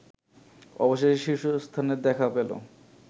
অবশেষে শীর্ষস্থানের দেখা পেল